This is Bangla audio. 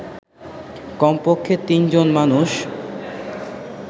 কমপক্ষে তিনজন মানুষ